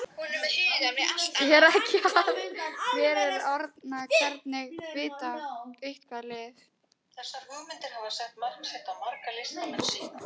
Er ekki alltaf verið að orða einhvern við eitthvað lið?